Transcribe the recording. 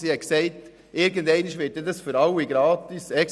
Sie hat gesagt, irgendwann werde das Angebot für alle gratis sein.